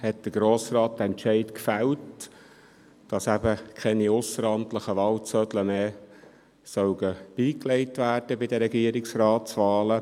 2007 fällte der Grosse Rat diesen Entscheid, wonach bei den Regierungsratswahlen keine ausseramtlichen Wahlzettel mehr beigelegt werden sollen.